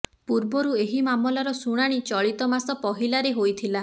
ପୂର୍ବରୁ ଏହି ମାମଲାର ଶୁଣାଣି ଚଳିତ ମାସ ପହିଲାରେ ହୋଇଥିଲା